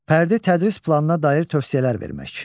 Fərdi tədris planına dair tövsiyələr vermək.